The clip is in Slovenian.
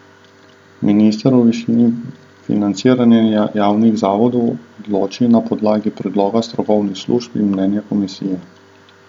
Minister o višini financiranja javnih zavodov odloči na podlagi predloga strokovnih služb in mnenja komisije.